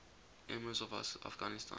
emirs of afghanistan